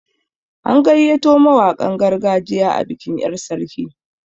An gayyato mawaƙan gargajiya a bikin yar' sarki.